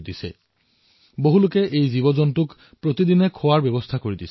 কিছুমান এনে লোক আছে যিয়ে নিতৌ শতাধিক এনে পশুৰ বাবে ভোজনৰ ব্যৱস্থা কৰিছে